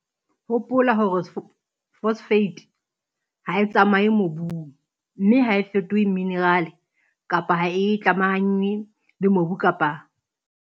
Hopola hore phosphate ha e tsamaye mobung, mme ha e fetohe minerale kapa ha e tlamahanngwe le mobu ka baka la dintlanyana tse ngata tse fapaneng.